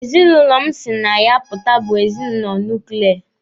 Ezinụlọ m si pụta na ya bụ ezinụlọ nuklia.